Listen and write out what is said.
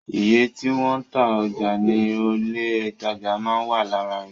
Iye tí wọ́n ń ta ọjà ní ilé ìtajà máa ń wà lára rẹ̀